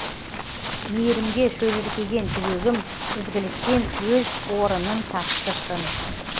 мейірімге шөліркеген жүрегім ізгіліктен өз орынын тапты шын